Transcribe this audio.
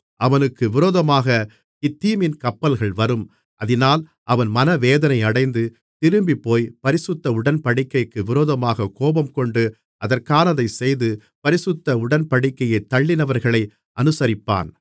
அவனுக்கு விரோதமாகக் கித்தீமின் கப்பல்கள் வரும் அதினால் அவன் மனவேதனையடைந்து திரும்பிப்போய் பரிசுத்த உடன்படிக்கைக்கு விரோதமாகக் கோபம்கொண்டு அதற்கானதைச் செய்து பரிசுத்த உடன்படிக்கையைத் தள்ளினவர்களை அநுசரிப்பான்